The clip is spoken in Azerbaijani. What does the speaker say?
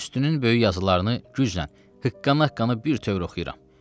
Üstünün böyük yazılarını güclə, hıqqana-hıqqana birtöv oxuyuram.